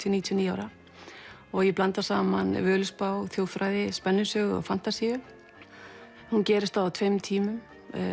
til níutíu og níu ára ég blanda saman Völuspá þjóðfræði spennusögu og fantasíu hún gerist á tveimur tímum